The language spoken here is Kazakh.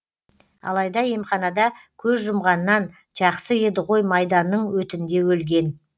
алайда емханада көз жұмғаннан жақсы еді ғой майданның өтінде өлген